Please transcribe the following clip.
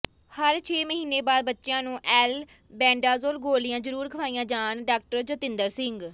ਹਰ ਛੇ ਮਹੀਨੇ ਬਾਅਦ ਬੱਚਿਆਂ ਨੂੰ ਅਲਬੈਂਡਾਜੋਲ ਗੋਲੀਆਂ ਜਰੂਰ ਖਵਾਈਆਂ ਜਾਣ ਡਾਕਟਰ ਜਤਿੰਦਰ ਸਿੰਘ